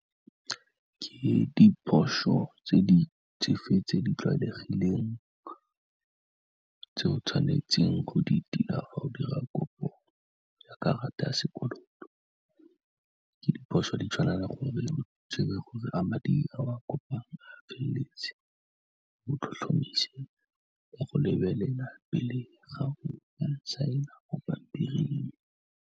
Ke diphoso tse di fe tse di tlwaelegileng, tse o tshwanetseng go di tila fa o dira kopo ya karata ya sekoloto, ke diphoso di tswalela gore o tsebe gore a madi a o kopang a feleletse, o tlhotlhomise le go lebelela pele ga go ka saena mo pampiring.